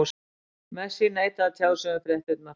Messi neitaði að tjá sig um fréttirnar.